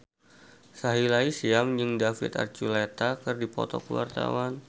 Sahila Hisyam jeung David Archuletta keur dipoto ku wartawan